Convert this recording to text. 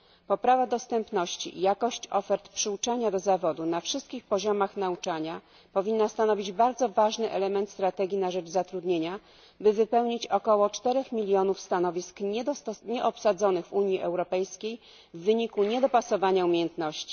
Poprawa dostępności i jakość ofert przyuczania do zawodu na wszystkich poziomach nauczania powinna stanowić bardzo ważny element strategii na rzecz zatrudnienia, by wypełnić około cztery miliony stanowisk w Unii Europejskiej nieobsadzonych z powodu niedopasowania umiejętności.